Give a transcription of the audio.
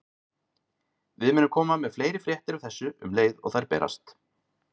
Við munum koma með fleiri fréttir af þessu um leið og þær berast.